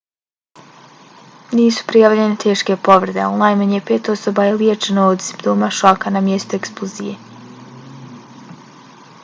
nisu prijavljene teške povrede ali najmanje pet osoba je liječeno od simptoma šoka na mjestu eksplozije